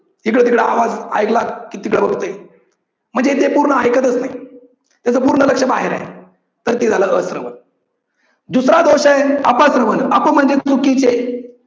इकडे तिकडे आवाज ऐकला की तिकड बघतय. म्हणजे ते पूर्ण ऐकतच नाही. त्याच पूर्ण लक्ष बाहेर आहे तर ते झालं अश्रवण. दुसरा दोष आहे अपश्रवन. अप म्हणजे चुकीचे.